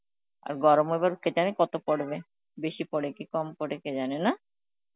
আর গরম এবার কে জানি কত পরবে বেশি পরে কি কম পরে ? কে জানে, না?